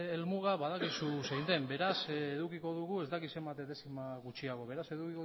helmuga badakizu zein den beraz edukiko dugu ez dakit zenbat dezima gutxiago beraz edukiko